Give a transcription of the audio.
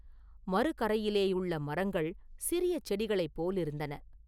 மறுகரையிலேயுள்ள மரங்கள் சிறிய செடிகளைப் போலிருந்தன.